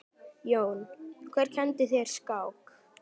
Jón: Hver kenndi þér skák?